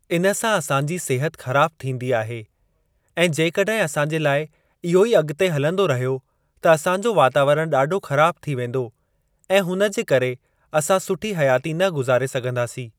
इन सां असांजी सिहत ख़राब थींदी आहे ऐं जेकॾहिं असांजे लाइ इहो ई अॻिते हलंदो रहियो त असांजो वातावरण ॾाढो ख़राब थी वेंदो ऐ हुन जे करे असां सुठी हयाती न गुज़ारे सघंदासीं।